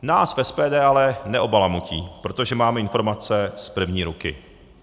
Nás v SPD ale neobalamutí, protože máme informace z první ruky.